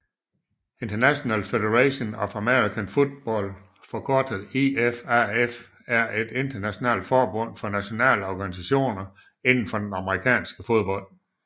International Federation of American Football forkortet IFAF er et internationalet forbund for nationale organisationer inden for amerikansk fodbold